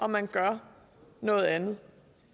man gør noget andet